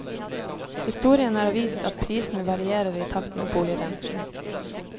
Historien har vist at prisene varierer i takt med boligrenten.